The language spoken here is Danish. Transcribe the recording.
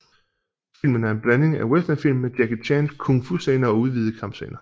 Filmen er en blanding af en westernfilm med Jackie Chans Kung Fu scener og udvidede kampscener